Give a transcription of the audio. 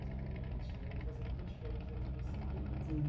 Eles tiveram uma infância muito diferente da que você teve. Sim.